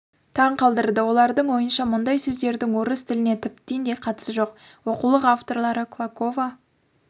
таң қалдырды олардың ойынша мұндай сөздердің орыс тіліне тіптен де қатысы жоқ оқулық авторлары клокова